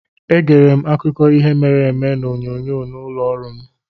Egere m akụkọ ihe mere eme n'onyonyo nọ n'ụlọ ọrụ m.